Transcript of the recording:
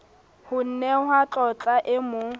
ho nehwa tlotla e mo